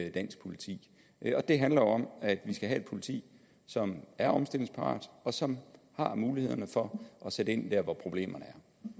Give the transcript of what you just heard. i dansk politi det handler om at vi skal have et politi som er omstillingsparat og som har mulighederne for at sætte ind der hvor problemerne